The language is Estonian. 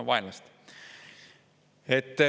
No vaenlast.